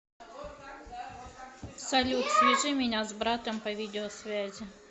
салют свяжи меня с братом по видеосвязи